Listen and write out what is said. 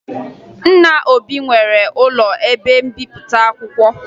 Nna Obi nwere ụlọ ebe mbipụta akwụkwọ